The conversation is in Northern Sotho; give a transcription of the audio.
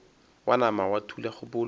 wa nama wa thula kgopolo